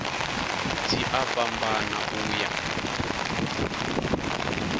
dzi a fhambana u ya